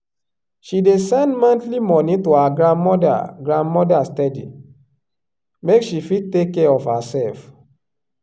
she dey send monthly money to her grandmother grandmother steady make she fit take care of herself.